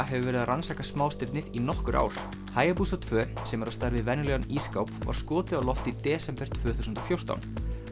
hefur verið að rannsaka smástirnið í nokkur ár tveggja sem er á stærð við venjulegan ísskáp var skotið á loft í desember tvö þúsund og fjórtán